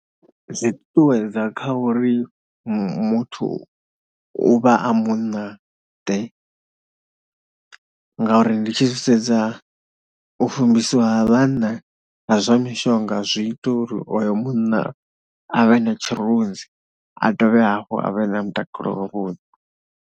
Zwi ṱuṱuwedza kha uri muthu u vha a munnaḓe ngauri ndi tshi zwi sedza, u fumbisiwa ha vhanna ha zwa mishonga zwi ita uri oyo munna a vhe na tshirunzi, a dovhe hafhu a vhe na mutakalo wavhuḓi.